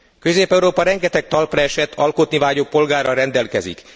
Közép Európa rengeteg talpraesett, alkotni vágyó polgárral rendelkezik.